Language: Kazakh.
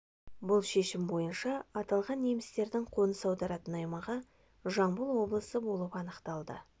бұл шешім бойынша аталған немістердің қоныс аударатын аймағы жамбыл облысы болып анықталды